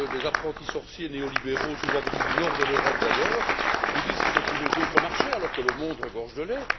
Les apprentis sorciers néolibéraux, souvent venus du nord de l'Europe d'ailleurs, nous disent qu'il faut trouver d'autres marchés, alors que le monde regorge de lait.